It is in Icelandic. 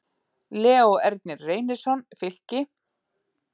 Leó Ernir Reynisson, Fylki